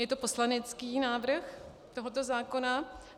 Je to poslanecký návrh tohoto zákona.